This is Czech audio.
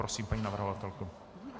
Prosím, paní navrhovatelko.